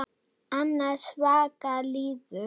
Andans vaka líður.